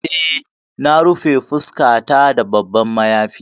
Eh na rufe fuskata da babban mayafi.